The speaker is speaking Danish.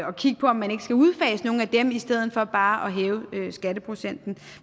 og kigge på om man ikke skal udfase nogle af dem i stedet for bare at hæve skatteprocenten